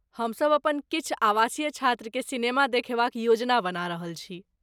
हम सब अपन किछु आवासीय छात्र के सिनेमा देखेबाक योजना बना रहल छी।